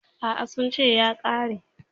A'a, sun ce ya ƙare.